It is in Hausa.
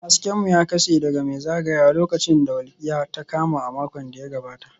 Hasken mu ya kashe daga mai zagayawa lokacin da walƙiya ta kama a makon da ya gabata